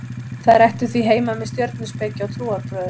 þær ættu því heima með stjörnuspeki og trúarbrögðum